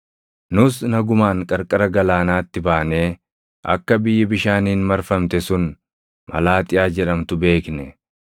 Nus nagumaan qarqara galaanaatti baanee akka biyyi bishaaniin marfamte sun Malaaxiyaa jedhamtu beekne.